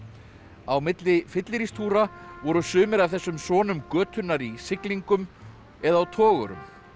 á milli voru sumir af þessum sonum götunnar í siglingum eða á togurum